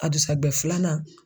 A dugusajɛ filanan